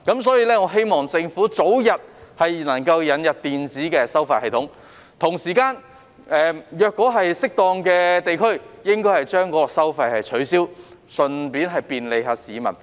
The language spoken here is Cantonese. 所以，我希望政府能夠早日引入電子收費系統，同時應該適當地取消某些地區的收費，順便便利市民。